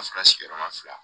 Ka sɔrɔ sigiyɔrɔma fila